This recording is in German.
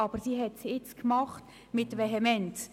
Aber sie hat es jetzt gemacht – mit Vehemenz.